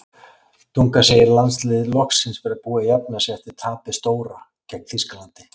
Dunga segir landsliðið loksins vera búið að jafna sig eftir tapið stóra gegn Þýskalandi.